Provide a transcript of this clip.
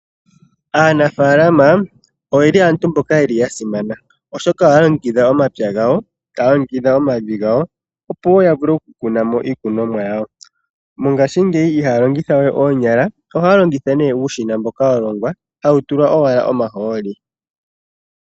Aanafaalama aantu mboka ya simana, oshoka ohaya longekidha omapya gawo, taya longekidha omavi gawo, opo ya vule oku kuna mo iikunomwa yawo. Mongashingeyi ihaya longitha we oonyala, ohaya longitha uushina mboka wa longwa, ohawu tulwa owala omahooli.